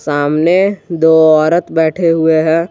सामने दो औरत बैठे हुए हैं।